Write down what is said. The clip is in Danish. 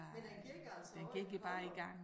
Men den gik altså også i Kollund